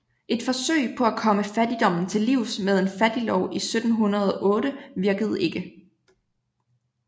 Et forsøg på at komme fattigdommen til livs med en fattiglov i 1708 virkede ikke